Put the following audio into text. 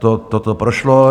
Toto prošlo.